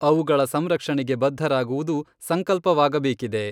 ಅವುಗಳ ಸಂರಕ್ಷಣೆಗೆ ಬದ್ಧರಾಗುವುದು ಸಂಕಲ್ಪವಾಗಬೇಕಿದೆ.